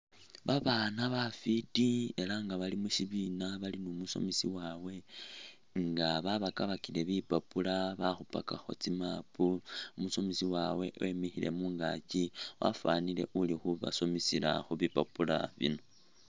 Babana bafiti elah nga balimushibina numusomesa wabwe nga babakabakakile bipapula balikhupakakho tsi'map umusomesa wabwe wemikhile mungaakyi wafanile uli khubasomesela khubipapula bino